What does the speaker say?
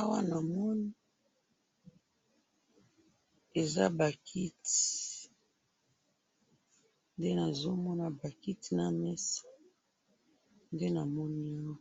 Awa namoni eza bakiti, nde nazomona bakiti namesa, nde namoni awa,